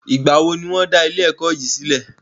Ìgbà wo ní wọ́n dá ilé ẹ̀kọ́ yìí sílẹ̀?